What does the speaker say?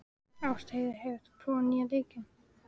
Ástheiður, hefur þú prófað nýja leikinn?